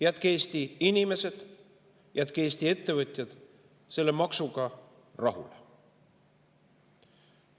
Jätke Eesti inimesed ja Eesti ettevõtjad selle maksuga rahule!